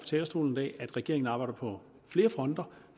talerstolen i dag at regeringen arbejder på flere fronter